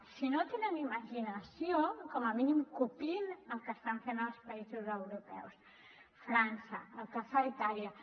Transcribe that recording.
si no tenen imaginació com a mínim copiïn el que estan fent els països europeus frança el que fa itàlia